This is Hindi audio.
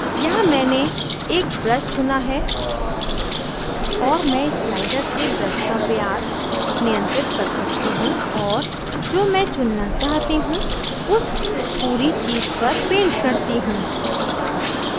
यहाँ मैंने एक brush चुना है और मैं इस slider से brush का व्यास नियंत्रित कर सकती हूँ और जो मैं चुनना चाहती हूँ उस पूरी चीज़ पर paint करती हूँ